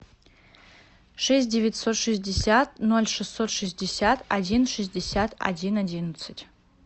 шесть девятьсот шестьдесят ноль шестьсот шестьдесят один шестьдесят один одиннадцать